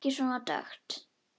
Ekki svona dökkt.